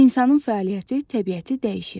İnsanın fəaliyyəti təbiəti dəyişir.